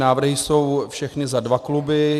Návrhy jsou všechny za dva kluby.